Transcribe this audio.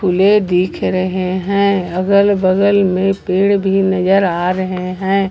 दिख रहे हैं अगल बगल में पेड़ भी नजर आ रहे हैं।